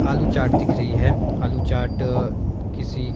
आलू चाट दिख री है आलू चाट किसी--